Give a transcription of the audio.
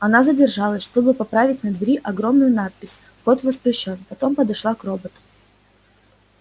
она задержалась чтобы поправить на двери огромную надпись вход воспрещён потом подошла к роботу